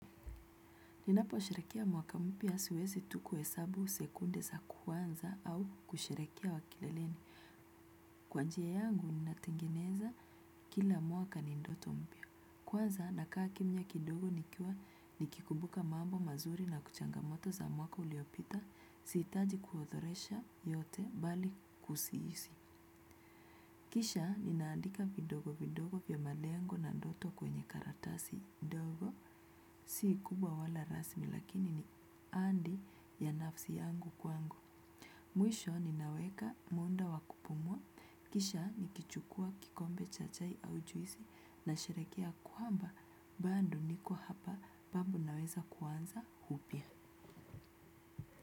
Ninaposherekia mwaka mpya siwezi tu kuhesabu sekunde za kwanza au kusherekea kileleni. Kwa njia yangu, ninatengeneza kila mwaka ni ndoto mpya. Kwanza, nakaa kimya kidogo nikiwa nikikumbuka mambo mazuri na kuchangamoto za mwaka uliopita, siitaji kuodhoresha yote bali kusiisi. Kisha, ninaandika vidogo vidogo vya malengo na ndoto kwenye karatasi. Ndogo si kubwa wala rasmi lakini ni andi ya nafsi yangu kwangu. Mwisho ninaweka munda wa kupumua. Kisha nikichukuwa kikombe cha chai au juisi nasherekea kwamba. Bando niko hapa babu naweza kuanza hupya.